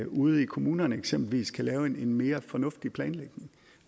ude i kommunerne eksempelvis kan lave en mere fornuftig planlægning